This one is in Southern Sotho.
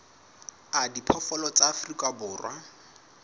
a diphoofolo tsa afrika borwa